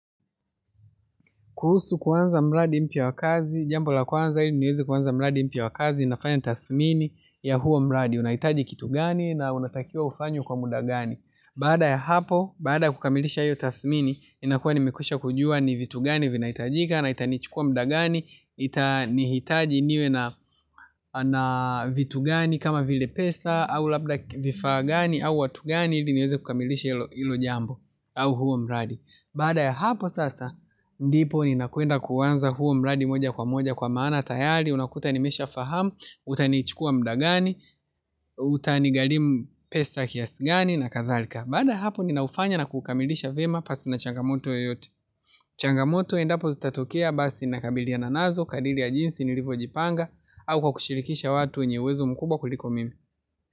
Kuhusu kuanza mradi mpya wa kazi, jambo la kwanza ili niweze kuanza mradi mpya wa kazi, nafanya tathmini ya huo mradi, unahitaji kitu gani na unatakiwa ufanye kwa muda gani. Baada ya hapo, baada kukamilisha hilo tathmini, inakuwa nimekwisha kujua ni vitu gani vinahitajika, na itanichukua muda gani, itanihitaji niwe na vitu gani kama vile pesa, au labda vifaa gani, au watu gani, ili niweze kukamilisha hilo jambo, au huo mradi. Baada ya hapo sasa, ndipo ninakwenda kuanza huo mradi moja kwa moja kwa maana tayari, unakuta nimesha fahamu, utanichukua muda gani, utanigharimu pesa kiasi gani na kadhalika. Baada ya hapo ni naufanya na kukamilisha vyema pasi na changamoto yoyote. Changamoto endapo zitatokea basi na kabiliananazo, kadri ya jinsi nilivyojipanga, au kwa kushirikisha watu wenye uwezo mkubwa kuniliko mimi.